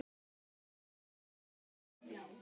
Þeir eru með frábært lið.